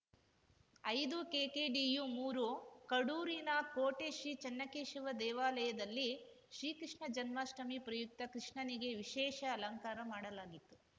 ಐದುಕೆಕೆಡಿಯುಮೂರು ಕಡೂರಿನ ಕೋಟೆ ಶ್ರೀಚನ್ನಕೇಶವ ದೇವಾಲಯದಲ್ಲಿ ಶ್ರೀಕೃಷ್ಣ ಜನ್ಮಾಷ್ಟಮಿ ಪ್ರಯುಕ್ತ ಕೃಷ್ಣನಿಗೆ ವಿಶೇಷ ಅಲಂಕಾರ ಮಾಡಲಾಗಿತ್ತು